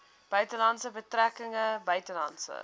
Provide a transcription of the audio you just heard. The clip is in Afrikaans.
buitelandse betrekkinge buitelandse